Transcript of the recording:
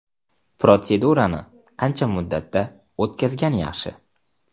Protsedurani qancha muddatda o‘tkazgan yaxshi?